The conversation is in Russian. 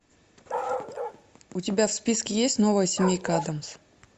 у тебя в списке есть новая семейка адамс